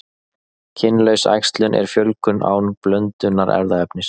Kynlaus æxlun er fjölgun án blöndunar erfðaefnis.